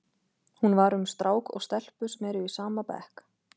Hún var um strák og stelpu sem eru í sama bekk.